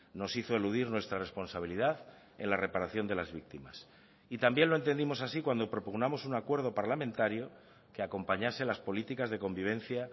nos hizo eludir nuestra responsabilidad en la reparación de las víctimas y también lo entendimos así cuando propugnamos un acuerdo parlamentario que acompañase las políticas de convivencia